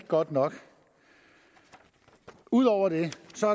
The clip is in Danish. godt nok ud over det